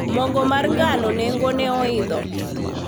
mogo mar ngano nengone oidho